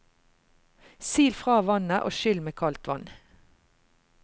Sil fra vannet og skyll med kaldt vann.